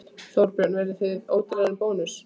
Þorbjörn: Verðið þið ódýrari en Bónus?